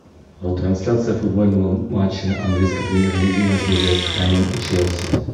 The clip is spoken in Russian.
трансляция футбольного матча английской премьер лиги между вест хэмом и челси